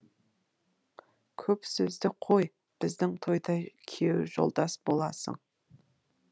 көп сөзді қой біздің тойда күйеу жолдас боласың